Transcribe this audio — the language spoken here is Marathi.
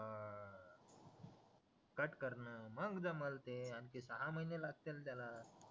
कट करणं मग जमल ते आणखीन सहा महिने लागतील त्याला